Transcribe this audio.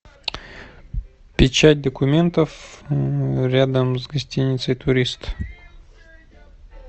печать документов рядом с гостиницей турист